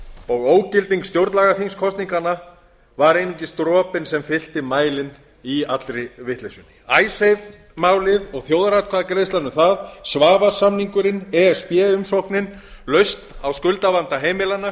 og ógilding stjórnlagaþingskosninganna var einungis dropinn sem fyllti mælinn í allri vitleysunni icesave málið og þjóðaratkvæðagreiðslan um það svavars samningurinn e s b umsóknin lausn á skuldavanda heimilanna